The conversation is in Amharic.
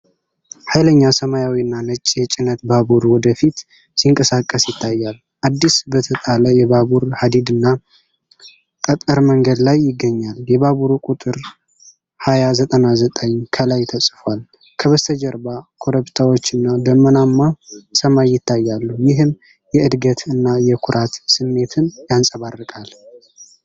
ኃይለኛ ሰማያዊና ነጭ የጭነት ባቡር ወደ ፊት ሲንቀሳቀስ ይታያል። አዲስ በተጣለ የባቡር ሀዲድና ጠጠር መንገድ ላይ ይገኛል። የባቡሩ ቁጥር "2099" ከላይ ተጽፏል። ከበስተጀርባ ኮረብታዎችና ደመናማ ሰማይ ይታያሉ፤ ይህም የዕድገት እና የኩራት ስሜትን ያንጸባርቃል።